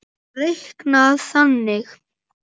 er reiknað þannig